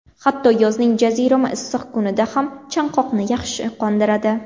Hatto yozning jazirama issiq kunida ham, chanqoqni yaxshi qondiradi.